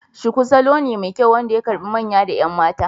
Shuku salo ne mai kyau wanda ya karbe manya da 'yan mata.